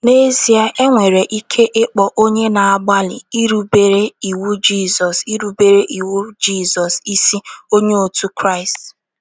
N’ezie, e nwere ike ịkpọ onye na - agbalị irubere iwu Jizọs irubere iwu Jizọs isi Onye otu Kraịst.